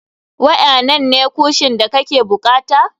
Waƴanannan ne kuoshin da kake bukata?